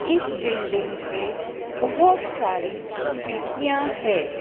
इस बिल्डिंग पे बहोत सारी खिड़कियाँ है।